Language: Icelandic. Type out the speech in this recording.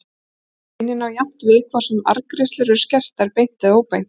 Greinin á jafnt við hvort sem arðgreiðslur eru skertar beint eða óbeint.